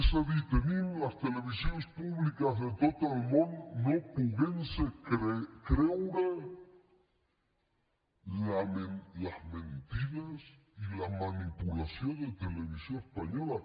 és a dir tenim les televisions públiques de tot el món que no es poden creure les mentides i la manipulació de televisió espanyola